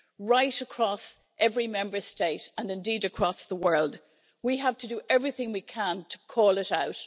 Right across every Member State, and indeed across the world, we have to do everything we can to call it out.